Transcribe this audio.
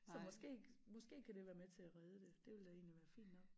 Så måske måske kan det være med til at redde det det ville da egentlig være fint nok